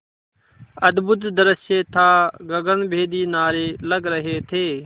अद्भुत दृश्य था गगनभेदी नारे लग रहे थे